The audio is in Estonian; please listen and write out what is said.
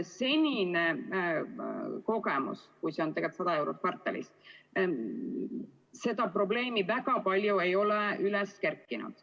Senine kogemus on – praegu see summa on 100 eurot kvartalis –, et seda probleemi väga palju ei ole üles kerkinud.